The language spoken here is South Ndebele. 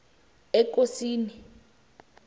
ekosini